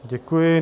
Děkuji.